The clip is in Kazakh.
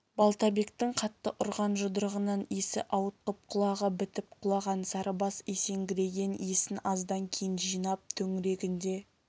балтабектің қатты ұрған жұдырығынан есі ауытқып құлағы бітіп құлаған сарыбас есеңгіреген есін аздан кейін жинап төңірегіне